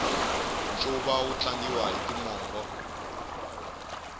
ncuva wu tlangiwa hi timongo